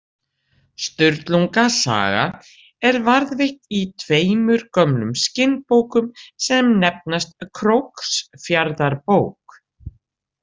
Sturlunga saga er varðveitt í tveimur gömlum skinnbókum sem nefnast Króksfjarðarbók